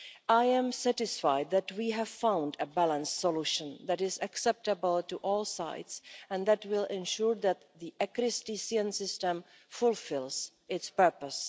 I am satisfied that we have found a balanced solution that is acceptable to all sides and that will ensure that the ECRIS-TCN system fulfils its purpose.